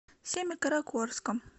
семикаракорском